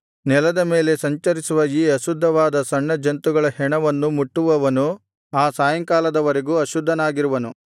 ನೆಲದ ಮೇಲೆ ಸಂಚರಿಸುವ ಈ ಅಶುದ್ಧವಾದ ಸಣ್ಣ ಜಂತುಗಳ ಹೆಣವನ್ನು ಮುಟ್ಟುವವನು ಆ ಸಾಯಂಕಾಲದ ವರೆಗೂ ಅಶುದ್ಧನಾಗಿರುವನು